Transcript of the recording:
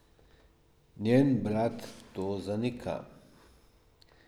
Njen brat to zanika.